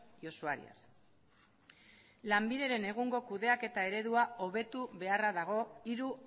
y usuarias lanbideren egungo kudeaketa eredua hobetu beharra dago hiru